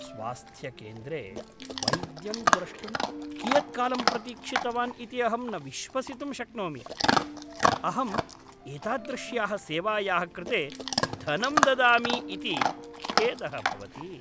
स्वास्थ्यकेन्द्रे वैद्यं द्रष्टुं कियत्कालं प्रतीक्षितवान् इति अहं न विश्वसितुं शक्नोमि। अहम् एतादृश्याः सेवायाः कृते धनं ददामि इति खेदः भवति।